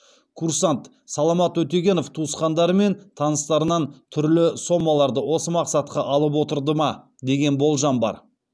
курсант саламат өтегенов туысқандары мен таныстарынан түрлі сомаларды осы мақсатқа алып отырды ма деген болжам бар